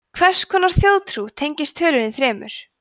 margs konar þjóðtrú tengist tölunni þremur